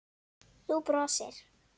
Þú brosir.